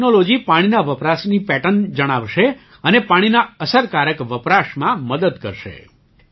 તે ટૅક્નૉલૉજી પાણીના વપરાશની પૅટર્ન જણાવશે અને પાણીના અસરકારક વપરાશમાં મદદ કરશે